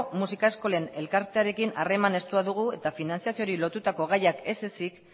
musika eskolen elkartearekin harreman estua dugu eta finantziazioari lotutako gaiak ez ezik